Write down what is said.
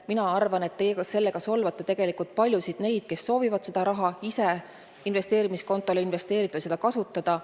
Ma arvan, et te sellega solvate tegelikult paljusid neid, kes soovivad seda raha ise investeerimiskonto kaudu investeerida või seda muul viisil kasutada.